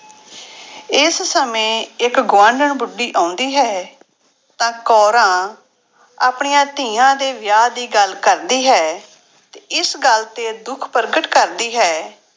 ਇਸ ਸਮੇਂ ਇੱਕ ਗੁਆਂਢਣ ਬੁੱਢੀ ਆਉਂਦੀ ਹੈ ਤਾਂ ਕੋਰਾਂ ਆਪਣੀਆਂ ਧੀਆਂ ਦੇ ਵਿਆਹ ਦੀ ਗੱਲ ਕਰਦੀ ਹੈ ਇਸ ਗੱਲ ਤੇ ਦੁੱਖ ਪ੍ਰਗਟ ਕਰਦੀ ਹੈ